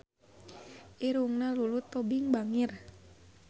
Irungna Lulu Tobing bangir